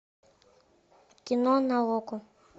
кино на окко